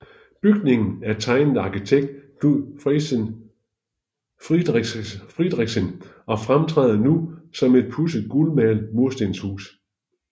Bygningen er tegnet af arkitekt Knud Friderichsen og fremtræder nu som et pudset gulmalet murstenshus